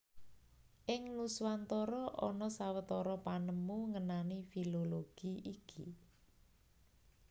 Ing Nuswantara ana sawetara panemu ngenani filologi iki